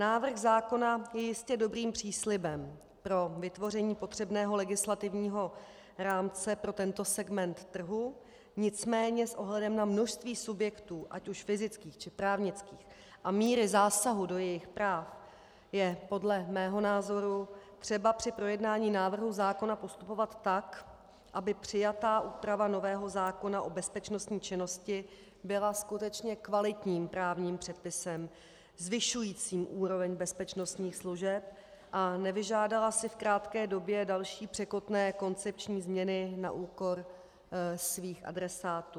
Návrh zákona je jistě dobrým příslibem pro vytvoření potřebného legislativního rámce pro tento segment trhu, nicméně s ohledem na množství subjektů, ať už fyzických, či právnických, a míru zásahu do jejich práv je podle mého názoru třeba při projednání návrhu zákona postupovat tak, aby přijatá úprava nového zákona o bezpečnostní činnosti byla skutečně kvalitním právním předpisem zvyšujícím úroveň bezpečnostních služeb a nevyžádala si v krátké době další překotné koncepční změny na úkor svých adresátů.